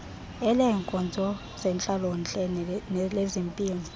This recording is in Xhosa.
eleenkonzo zentlalontle nelezempilo